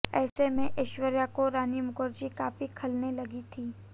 ऐसे में ऐश्वर्या को रानी मुखर्जी काफी खलने लगी थीं